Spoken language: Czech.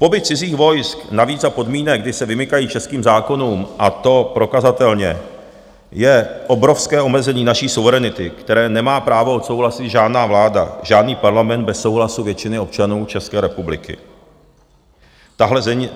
Pobyt cizích vojsk, navíc za podmínek, kdy se vymykají českým zákonům, a to prokazatelně, je obrovské omezení naší suverenity, které nemá právo odsouhlasit žádná vláda, žádný parlament bez souhlasu většiny občanů České republiky.